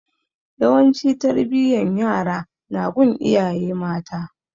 Yawanci tarbiyan yara na gun iyaye mata